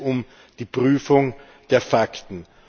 Da geht es um die Prüfung der Fakten.